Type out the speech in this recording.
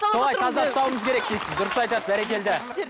солай таза ұстауымыз керек дейсіз дұрыс айтады бәрекелді